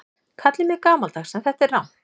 Kallið mig gamaldags en þetta er rangt.